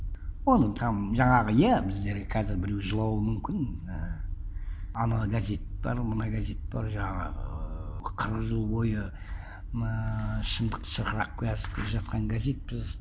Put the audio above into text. оның там жаңағы иә біздерге қазір біреу жылауы мүмкін ііі анау газет бар мына газет бар жаңағы ыыы қырық жыл бойы ііі шындықты шырқырап келе айтып келе жатқан газетпіз